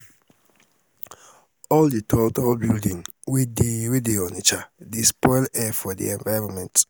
all di tall tall building wey dey wey dey onitsha dey spoil air for di environment.